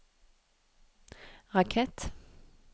rakett